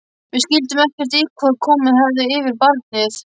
Við skildum ekkert í því hvað komið hefði yfir barnið.